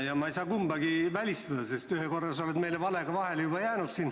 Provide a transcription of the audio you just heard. Ja ma ei saa kumbagi välistada, sest ühe korra sa oled meile valega juba vahele jäänud.